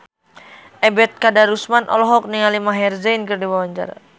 Ebet Kadarusman olohok ningali Maher Zein keur diwawancara